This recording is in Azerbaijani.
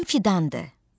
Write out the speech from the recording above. Adım Fidandır.